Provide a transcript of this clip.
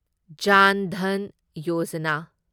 ꯖꯥꯟ ꯙꯟ ꯌꯣꯖꯥꯅꯥ